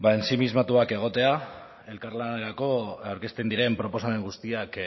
ensimismatuak egotea elkarlanerako aurkezten diren proposamen guztiak